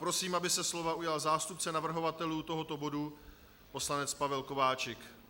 Prosím, aby se slova ujal zástupce navrhovatelů tohoto bodu poslanec Pavel Kováčik.